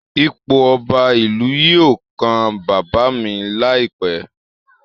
Ipò Ọba ìlú yìí yóò kan baba mi láìpẹ́